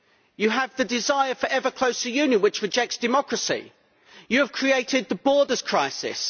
You have the desire for ever closer union, which rejects democracy. You have created the borders crisis.